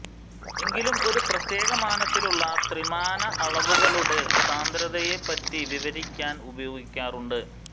എങ്കിലും ഒരു പ്രത്യേക മാനത്തിലുള്ള ത്രിമാനഅളവുകളുടെ സാന്ദ്രതയെപ്പറ്റി വിവരിക്കാൻ ഉപയോഗിക്കാറുണ്ട്